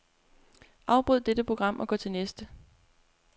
Afbryd dette program og gå til næste.